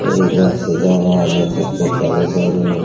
कोई इधर से जा रहा है देख सकते हैं तालाब साइड में।